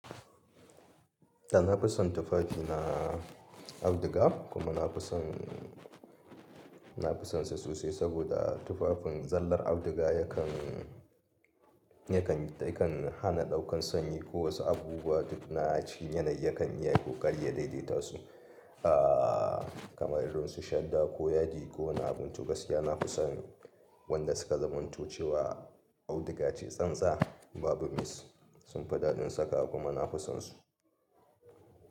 Da na fi son tufafi na auduga kuma na fi son, na fi sonsa sosai saboda tufafin zallar auduga yakan, yakan, yakan hana ɗaukan sanyi ko wasu abubuwa duk na a ci yanayi yakan iya ƙoƙari ya daidaita su. Aaa kamar irin su shadda ko yadi ko wani abin to gaskiya na fisani wanda suka zamanto cewa auduga ce tsantsa babu mis sunfi daɗin saka kuma na fi sonsu.